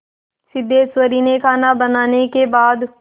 सिद्धेश्वरी ने खाना बनाने के बाद